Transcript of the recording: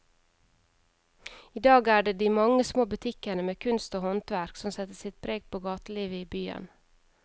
I dag er det de mange små butikkene med kunst og håndverk som setter sitt preg på gatelivet i byen.